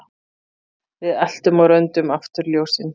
Við eltum á röndum afturljósin